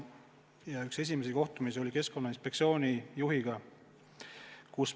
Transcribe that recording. Ja üks esimesi kohtumisi oli Keskkonnainspektsiooni juhiga.